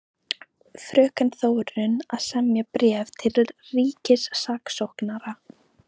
Fröken Þórunn að semja bréf til ríkissaksóknara.